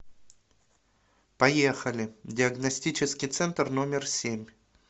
поехали диагностический центр номер семь